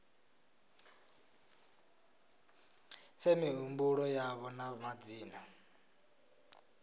fhe mihumbulo yavho na madzina